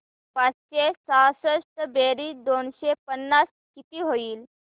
पाचशे सहासष्ट बेरीज दोनशे पन्नास किती होईल